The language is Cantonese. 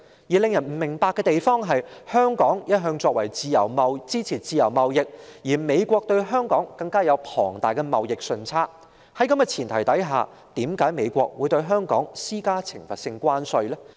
然而，令人不解的是，香港一向支持自由貿易，而美國對香港更有龐大的貿易順差，在這前提下，為何美國會對香港施加懲罰性關稅呢？